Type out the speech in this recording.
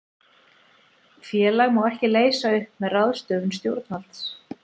Félag má ekki leysa upp með ráðstöfun stjórnvalds.